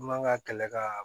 Man ka kɛlɛ ka